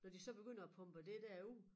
Når de så begynder at pumpe det der ud